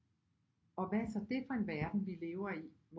Og hvad er så det for en verden vi lever i